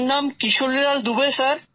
আমার নাম কিশোরীলাল দুর্বে